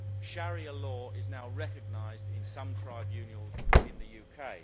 Sharia law is now recognised in some tribunals in the UK.